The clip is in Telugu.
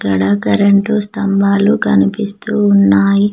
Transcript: అక్కడ కరెంటు స్తంబాలు కనిపిస్తూ ఉన్నాయి.